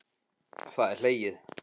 Það er hlegið.